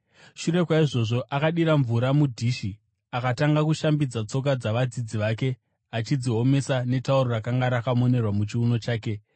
Shure kwaizvozvo, akadira mvura mudhishi akatanga kushambidza tsoka dzavadzidzi vake, achidziomesa netauro rakanga rakamonerwa muchiuno chake.